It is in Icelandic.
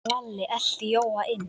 Lalli elti Jóa inn.